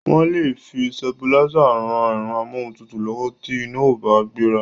Wọ́n lè fi sitabilísà ran ẹ̀rọ amóhuntutù lọ́wọ́ tí iná ò bá gbéra.